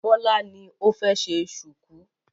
Bọ́lá ni ó fẹ́ ṣe ṣùkú.